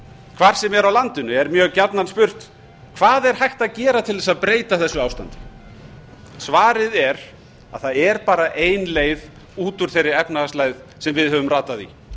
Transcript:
hvar sem er á landinu er mjög gjarnan spurt hvað er hægt að gera til þess að breyta þessu ástandi svarið er að það er bara ein leið út úr þeirri efnahagslægð sem við höfum ratað í